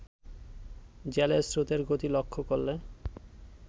জলের স্রোতের গতি লক্ষ্য করলে